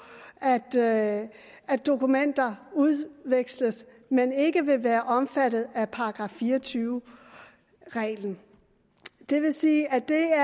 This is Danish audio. at at dokumenter udveksles men ikke vil være omfattet af § fire og tyve reglen det vil sige at det er